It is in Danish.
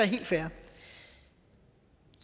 helt fair